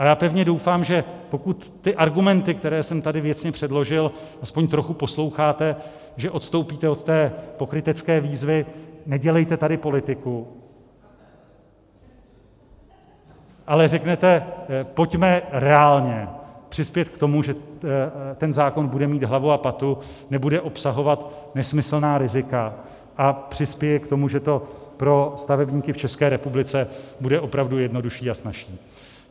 A já pevně doufám, že pokud ty argumenty, které jsem tady věcně předložil, aspoň trochu posloucháte, že odstoupíte od té pokrytecké výzvy "nedělejte tady politiku", ale řeknete "pojďme reálně přispět k tomu, že ten zákon bude mít hlavu a patu, nebude obsahovat nesmyslná rizika a přispěje k tomu, že to pro stavebníky v České republice bude opravdu jednodušší a snazší".